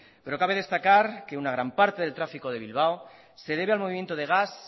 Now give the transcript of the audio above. pero cabe destacar que una gran parte del tráfico de bilbao se debe al movimiento de gas